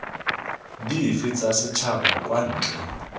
dife tsa setšhaba kwa ntle